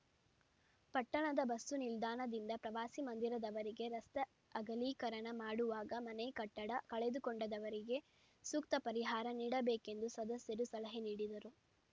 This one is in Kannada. ಪಟ್ಟಣದ ಬಸ್ಸು ನಿಲ್ದಾಣದಿಂದ ಪ್ರವಾಸಿ ಮಂದಿರದವರೆಗೆ ರಸ್ತೆ ಅಗಲೀಕರಣ ಮಾಡುವಾಗ ಮನೆ ಕಟ್ಟಡ ಕಳೆದುಕೊಂಡವರಿಗೆ ಸೂಕ್ತ ಪರಿಹಾರ ನೀಡಬೇಕು ಎಂದು ಸದಸ್ಯರು ಸಲಹೆ ನೀಡಿದರು